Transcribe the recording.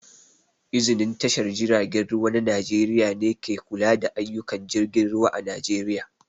Iznin tashar jiragen ruwa na Najeriƴa ne ke kula da ayyuƙan jirgin ruwa a Najeriƴa